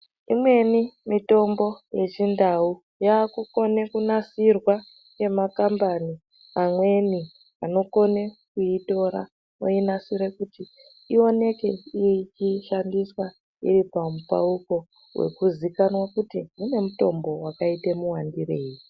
Imweni mitombo yechintau yakukone kunasirwa nemakambani mamweni anokone kuitora inonasire kuti iwoneke ichishandiswa iripandau poo nekuzikanwa kuti dzine mitombo yakaita muwandirei .